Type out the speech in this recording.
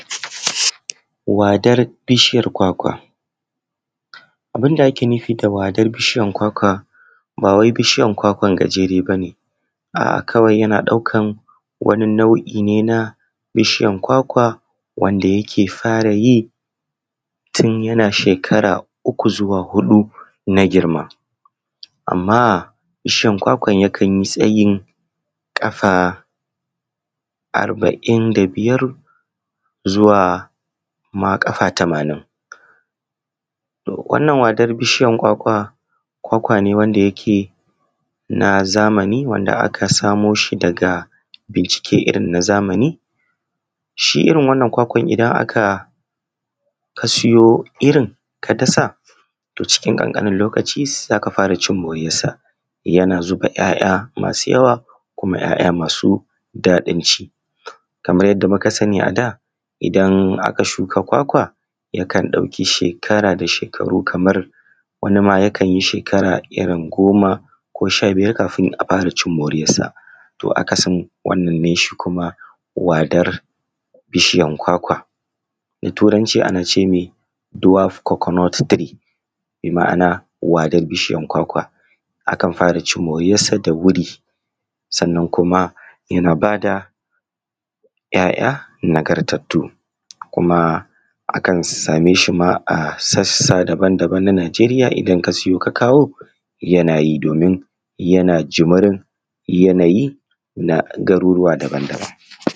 Wadar bishiyar kwakwa. A bun da ake nufi da bishiyar kwakwa ba wai bishiyan kwakwan gajere ba ne, a’a kawai yana ɗaukan wani nau’i ne na bishiyar kwakwa wanda yake fara yi tun yana shekara uku zuwa huɗu na girma, amma bishiyan kwakwan yakan yi tsayin ƙafa arbain da biyar zuwa ma ƙafa tamanin. Wannan wadar bishiyar kwakwa kwakwa ne wanda yake na zamani wanda aka samo shi daga bincike irin na zamani, shi iri wannan kwakwan idan aka ka siyo shi irin kasa to cikin ƙan ƙanin lokaci za ka fara cin moriyarsa, yana zuba ‘ya’ya masu yawa kuma ‘ya’ya masu daɗin ci kaman yadda muka sani a da idan aka shuka kwakwa yakan ɗauki shekara da shekaru kamar wani ma yakan yi shekara goma ko sha biyar kafun a fara ci moriyarsa. To, akasin wannan ne shi kuma wadar bishiyan kwakwa da turanci ana ceme duwaf koko not tiri bima’ana wadar bishiayr kwakwa akan fara cin moriyarsa da wuri sanna kuma yana bada yaya nagartattu kuma akan sameshi a sassa daban daban na najeriy idan ka siyo ka kawo yanayi domin yana jimirin yanayi na garurruwa daban-daban.